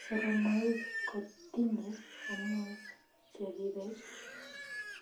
Soromaik kotinyee hormones cheribee